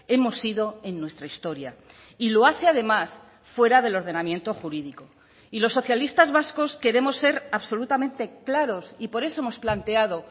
hemos sido en nuestra historia y lo hace además fuera del ordenamiento jurídico y los socialistas vascos queremos ser absolutamente claros y por eso hemos planteado